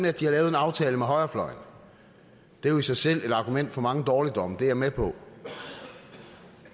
at de har lavet en aftale med højrefløjen det er jo i sig selv et argument for mange dårligdomme det er jeg med på